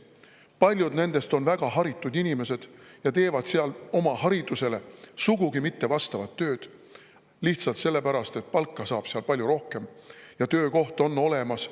Paljud nendest on väga haritud inimesed ja nad teevad seal oma haridusele sugugi mitte vastavat tööd lihtsalt sellepärast, et palka saab seal palju rohkem ja töökoht on olemas.